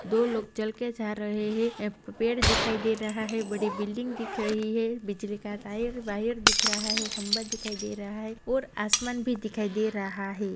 दो लोग चल के जा रहे है यहा पे पेड़ दिखाई दे रहा है बड़ी बिल्डिंग दिख रही है बिजली का टायर वायर दिख रहा है खंबा दिखाई दे रहा है और आसमान भी दिखाई दे रहा है।